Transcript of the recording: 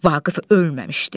Vaqif ölməmişdi.